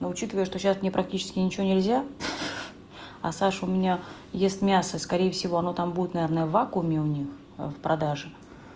учитывая что сейчас не практически ничего нельзя а саш у меня есть мясо скорее всего она там будет наверное в вакууме у них в продаже